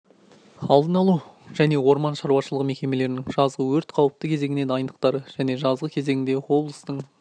алдын алу және орман шаруашылығы мекемелерінің жазғы өрт қауіпті кезеңіне дайындықтары және жазғы кезеңде облыстың